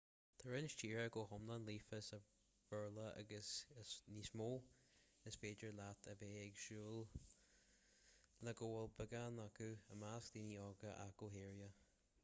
tá roinnt tíortha go hiomlán líofa sa bhéarla agus i níos mó is féidir leat a bheith ag súil le go bhfuil beagán acu i measc daoine óga ach go háirithe